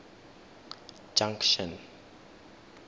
junction